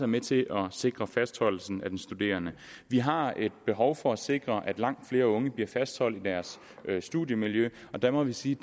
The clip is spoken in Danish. med til at sikre fastholdelsen af den studerende vi har et behov for at sikre at langt flere unge bliver fastholdt i deres studiemiljø og der må vi sige